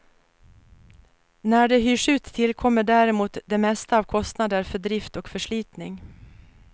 När de hyrs ut tillkommer däremot det mesta av kostnader för drift och förslitning.